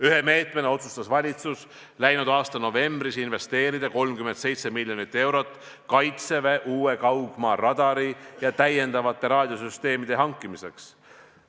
Ühe meetmena otsustas valitsus läinud aasta novembris investeerida 37 miljonit eurot Kaitseväe uue kaugmaaradari ja täiendavate raadiosüsteemide hankimiseks.